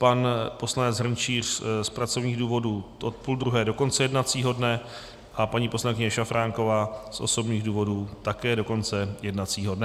Pan poslanec Hrnčíř z pracovních důvodů od půl druhé do konce jednacího dne a paní poslankyně Šafránková z osobních důvodů také do konce jednacího dne.